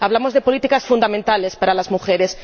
Hablamos de políticas fundamentales para las mujeres.